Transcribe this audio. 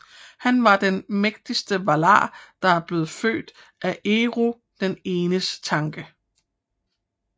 Han var den mægtigste Valar der blev født af Eru den Enes tanke